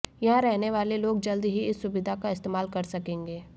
यहां रहने वाले लोग जल्द ही इस सुविधा का इस्तेमाल कर सकेंगे